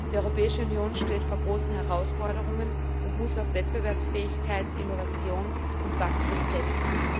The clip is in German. Die Europäische Union steht vor großen Herausforderungen und muss auf Wettbewerbsfähigkeit, Innovation und Wachstum setzen.